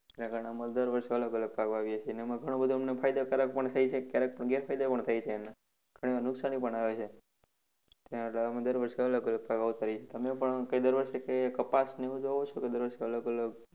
જેના કારણે અમારે દર વર્ષે અલગ અલગ પાક વાવીએ છીએ. એમાં ઘણું બધું અમને ફાયદાકારક પણ થાય છે અને ક્યારેક તો ગેરફાયદા પણ થાય છે એના. ઘણી વાર નુકશાની પણ આવે છે. અમે દર વર્ષે અલગ અલગ પાક વાવતાં રહીએ છીએ. તમે પણ દર વર્ષે કઈ કપાસને એવું જ વાવો છે કે દર વર્ષે કઈ અલગ અલગ?